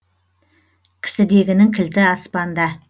кісідегінің кілті аспанда